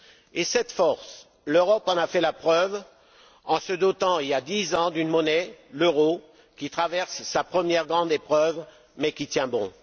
Et cette force, l'Europe en a fait la preuve en se dotant, il y a dix ans, d'une monnaie, l'euro, qui traverse sa première grande épreuve, mais qui tient bon.